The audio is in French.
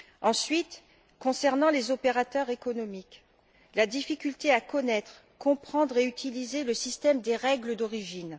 Ensuite, concernant les opérateurs économiques sur la difficulté à connaître, comprendre et utiliser le système des règles d'origine.